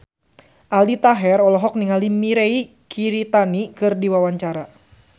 Aldi Taher olohok ningali Mirei Kiritani keur diwawancara